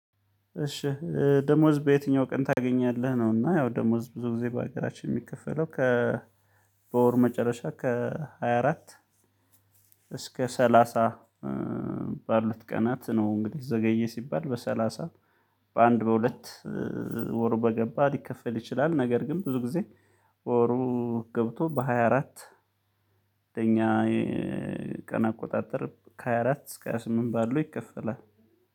እሺ ደሞዝ በየትኛው ቀን ታገኛለህ? ነው። እና ያው ደሞዝ ብዙ ጊዜ በሀገራችን የሚከፈለው ከ በወር መጨረሻ ከሃያ አራት እስከ ሰላሳ ባሉት ቀናት ነው። እንግዲህ ዘገየ ሲባል በሰላሳ በአንድ በሁለት ወር በገባ ሊከፈል ይችላል። ነገር ግን ብዙ ጊዜ ወሩ ገብቶ በሃያ አራት በኛ የቀን አቆጣጠር ከሃያ አራት እስከ ሃያ ስምንት ባለው ይከፈላል።